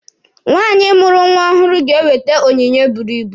Nwaanyị mụrụ nwa ọhụrụ ga-enwete onyinye buru ibu.